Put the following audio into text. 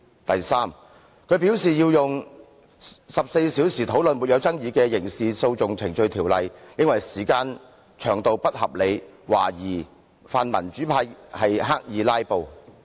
第三，他認為用14小時討論不具爭議的根據《刑事訴訟程序條例》動議的擬議決議案，時間不合理，懷疑泛民主派刻意"拉布"。